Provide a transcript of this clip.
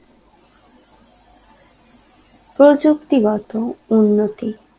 প্রযুক্তিগত উন্নতি